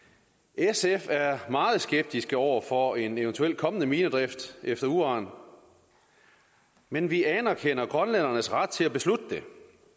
sf er meget skeptiske over for en eventuel kommende minedrift efter uran men vi anerkender grønlændernes ret til at beslutte det